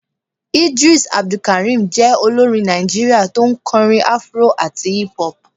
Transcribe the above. Eedris abdulkareem je olorín Naijiria tọ n korín afro atí hip hop